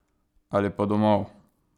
Ali pa domov!